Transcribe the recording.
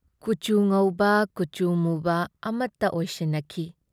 ꯀꯨꯆꯨ ꯉꯧꯕ ꯀꯨꯆꯨ ꯃꯨꯕ ꯑꯃꯠꯇ ꯑꯦꯏꯁꯤꯟꯅꯈꯤ ꯫